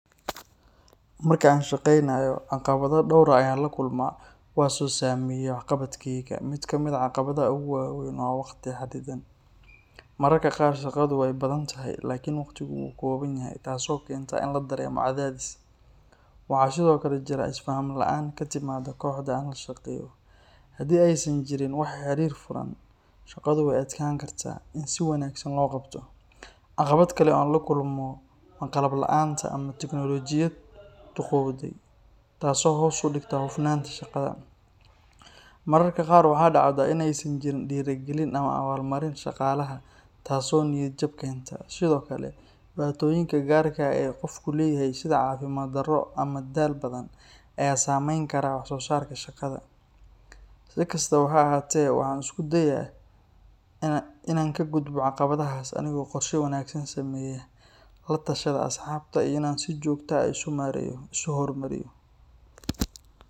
Marka aan shaqaynayo, caqabado dhowr ah ayaan la kulmaa kuwaas oo saameeya waxqabadkayga. Mid ka mid ah caqabadaha ugu waaweyn waa waqti xaddidan. Mararka qaar shaqadu waa badan tahay, laakiin waqtigu wuu kooban yahay, taasoo keenta in la dareemo cadaadis. Waxaa sidoo kale jira isfaham la’aan ka timaadda kooxda aan la shaqeeyo. Haddii aysan jirin wada xiriir furan, shaqadu way adkaan kartaa in si wanaagsan loo qabto. Caqabad kale oo aan la kulmo waa qalab la’aanta ama tignoolajiyad duugoowday taasoo hoos u dhigta hufnaanta shaqada. Mararka qaar waxaa dhacda in aysan jirin dhiirigelin ama abaalmarin shaqaalaha, taasoo niyad-jab keenta. Sidoo kale, dhibaatooyinka gaarka ah ee qofku leeyahay sida caafimaad darro ama daal badan ayaa saameyn kara wax soo saarka shaqada. Si kastaba ha ahaatee, waxaan isku dayaa in aan ka gudbo caqabadahaas anigoo qorshe wanaagsan sameeya, la tashada asxaabta, iyo inaan si joogto ah isu horumariyo.